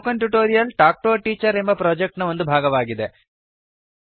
spoken tutorial talk to a teacher project ನ ಒಂದು ಭಾಗವಾಗಿದೆ